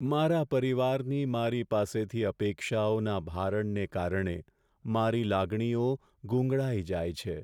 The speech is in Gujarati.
મારા પરિવારની મારી પાસેથી અપેક્ષાઓના ભારણને કારણે મારી લાગણીઓ ગૂંગળાઈ જાય છે.